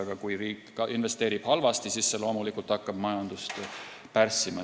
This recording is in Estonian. Aga kui riik investeerib halvasti, siis hakkab see loomulikult majandust pärssima.